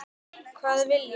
Hvað vil ég?